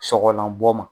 Sɔgɔlanbɔ ma